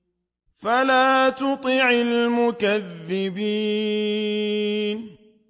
فَلَا تُطِعِ الْمُكَذِّبِينَ